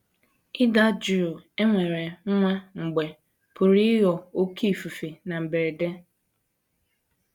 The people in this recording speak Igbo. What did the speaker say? Ịda jụụ e nwere nwa mgbe pụrụ ịghọ oké ifufe na mberede.